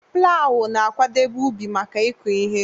Plawu na-akwadebe ubi maka ịkụ ihe.